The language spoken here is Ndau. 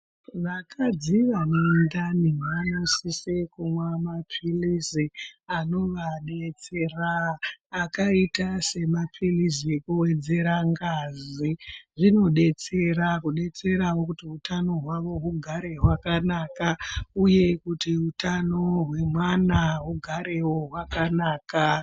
Vakadzi vanedhani vanosise kunwa mapirizi anovabetsera , akaita semapirizi ekuvedzere ngazi zvinobetserawo kuti hutano hwawo hugare wakanaka uye kuti hutano hwevana ugarewo wakanaka.